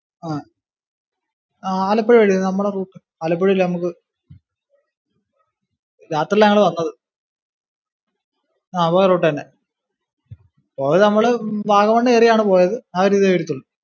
ആഹ് ആലപ്പുഴ വഴി തന്നെ നമ്മടെ route, ആലപ്പുഴ അല്ലിയോ നമുക്ക്, രാത്രിലാ ഞങ്ങള് വന്നത്. ആ പോയ route തന്നെ. പോയെ നമ്മള് വാഗമണ് കേറിയാണ് പോയത്. ആ ഒരു ഇതേ എടുത്തുള്ളൂ.